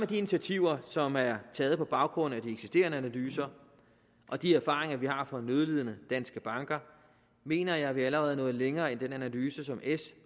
de initiativer som er taget på baggrund af de eksisterende analyser og de erfaringer vi har fra nødlidende danske banker mener jeg vi allerede er nået længere end den analyse som s